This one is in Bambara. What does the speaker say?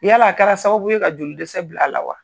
Yala a kɛra sababu ye ka joli dɛsɛ bil'a la wa?